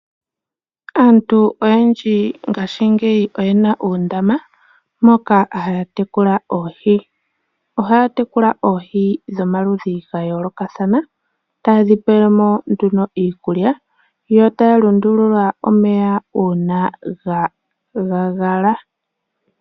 Aantu oyendji ngaashingeyi oyena uundama moka haya tekula oohi. Ohaya tekula oohi dhomaludhi gayoolokathana taye dhipele mo nduno iikulya, yo taya lundulula omeya uuna ga gagala.